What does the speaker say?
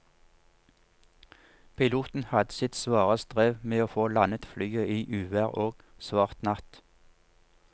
Piloten hadde sitt svare strev med å få landet flyet i uvær og svart natt.